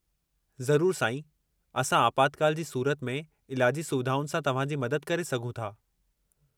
ज़रूरु, साईं। असां आपातकालु जी सूरत में इलाजी सुविधाउनि सां तव्हांजी मदद करे सघूं था।